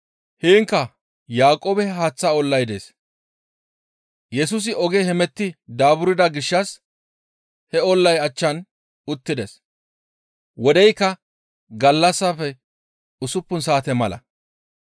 Heenkka Yaaqoobe haaththa ollay dees. Yesusi oge hemetti daaburda gishshas he ollay achchan uttides. Wodeykka gallassafe usuppun saate mala.